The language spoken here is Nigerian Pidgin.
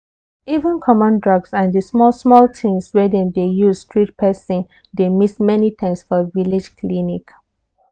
even common drugs and the small-small things wey dem dey use treat person dey miss many times for village clinic.